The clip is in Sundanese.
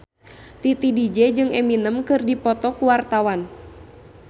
Titi DJ jeung Eminem keur dipoto ku wartawan